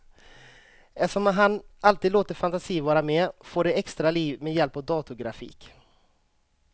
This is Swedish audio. Eftersom han alltid låter fantasin vara med får de extra liv med hjälp av datorgrafik.